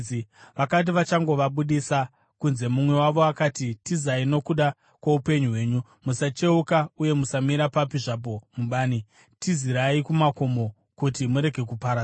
Vakati vachangovabudisa kunze, mumwe wavo akati, “Tizai nokuda kwoupenyu hwenyu! Musacheuka, uye musamira papi zvapo mubani! Tizirai kumakomo kuti murege kuparadzwa!”